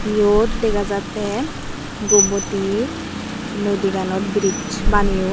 iote degajatey gomoti nodi ganot brizch baneyon.